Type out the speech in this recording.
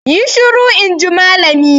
Yi shiru! in ji malamin.